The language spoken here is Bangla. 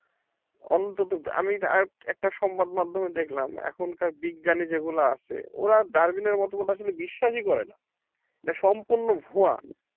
অন্তত আমি একটা সংবাদ মাধ্যমে দেখলাম এখনকার বিজ্ঞানী যেগুলো আছে ওরা Darwin এর মতবাদ আসলে বিশ্বাসই করে না এটা সম্পূর্ণ ভুয়া